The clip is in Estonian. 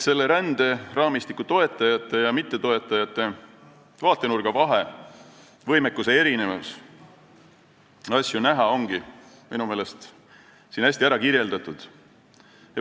Ränderaamistiku toetajate ja mittetoetajate vaatenurga vahe, erinev võimekus asju näha ongi minu meelest siin hästi ära kirjeldatud.